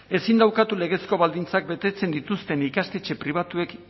ezin da ukatu legezko baldintzak betetzen dituzten ikastetxe pribatuek